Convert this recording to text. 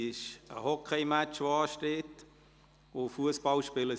Es steht ein Hockeymatch an, und es wird auch Fussball gespielt.